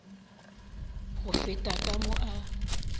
go feta ka mo a